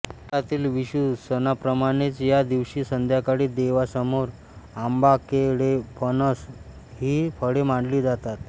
केरळातील विशु सणाप्रमाणेच या दिवशी संध्याकाळी देवासमोर आंबाकेळेफणस ही फळे मांडली जातात